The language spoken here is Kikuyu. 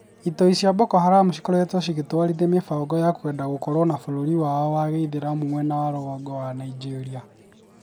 Itoi cia Boko Haram cikoretwo cigĩtwarithia mĩhang'o ya kwenda gũkorwo na bũrũri wao wa gĩithĩramũ mwena wa rũgongo wa Nĩgeria.